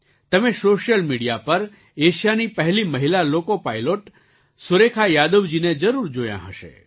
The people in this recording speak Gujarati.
તમે સૉશિયલ મિડિયા પર એશિયાની પહેલી મહિલા લૉકો પાઇલૉટ સુરેખા યાદવજીને જરૂર જોયાં હશે